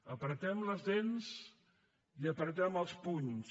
apretem les dents i apretem els punys